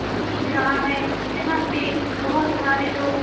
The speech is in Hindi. ये खींच रहा है यहां पे बहोत सारे लोग --